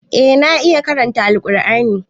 Eh na iya karanta Alqur'ani.